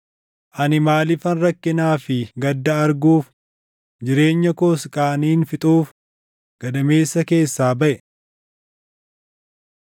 Ani maaliifan rakkinaa fi gadda arguuf jireenya koos qaaniin fixuuf gadameessa keessaa baʼe?